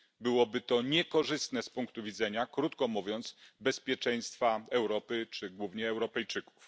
Byłoby to niekorzystne z punktu widzenia, krótko mówiąc, bezpieczeństwa Europy, czy głównie Europejczyków.